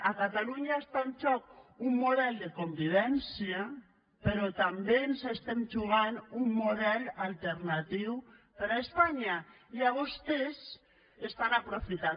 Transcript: a catalunya està en joc un model de convivència però també ens estem jugant un model alternatiu per a espanya i vostès ho estan aprofitant